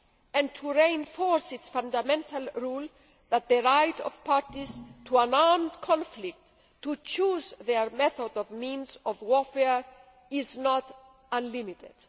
and to reinforce its fundamental rule that the right of parties to an armed conflict to choose their methods or means of warfare is not unlimited.